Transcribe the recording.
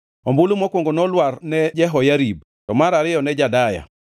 Ombulu mokwongo nolwar ne Jehoyarib, to mar ariyo ne Jedaya,